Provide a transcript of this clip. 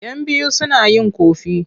Yan biyu suna yin ƙofi.